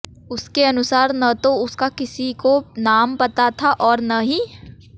उसके अनुसार न तो उसका किसी को नाम पता था और न ही